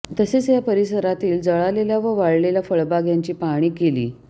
तसेच या परिसरातील जळालेल्या व वाळलेल्या फळबाग यांची पाहणी केली